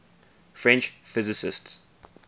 french physicists